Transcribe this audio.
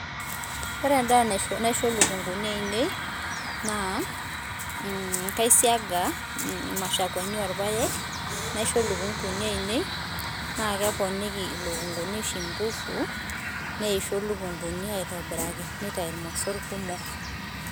Ore endaaa naisho lukunguni ainei naa, kaisianga mashakwani oorpaek naisho lukunguniinei, naa keponiki ilukunguni oshi inkufu, neisho lukunguni aitobiraki neitayu mosorr kumok.